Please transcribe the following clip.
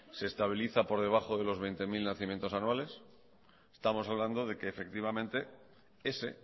se estabiliza por debajo de los veinte mil nacimientos anuales estamos hablando de que efectivamente ese